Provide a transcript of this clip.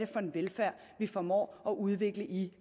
for en velfærd vi formår at udvikle i